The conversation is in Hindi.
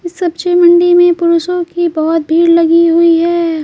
सब्जी मंडी में पुरुषों की बहुत भीड़ लगी हुई है।